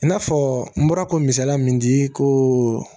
I n'a fɔ n bɔra kisaliya min di ko